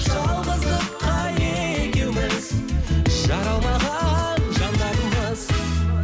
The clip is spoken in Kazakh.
жалғыздыққа екеуіміз жаралмаған жандармыз